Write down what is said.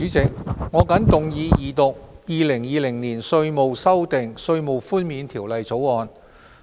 主席，我謹動議二讀《2020年稅務條例草案》。